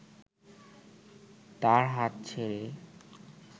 তার হাত ছেড়ে